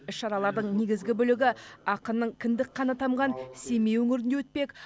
іс шаралардың негізгі бөлігі ақынның кіндік қаны тамған семей өңірінде өтпек